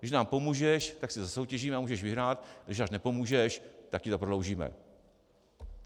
Když nám pomůžeš, tak si zasoutěžíme a můžeš vyhrát, když nám nepomůžeš, tak ti to prodloužíme.